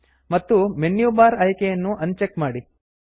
ಮತ್ತು menu bar menu bar ಆಯ್ಕೆಯನ್ನು uncheck ಮಾಡಿ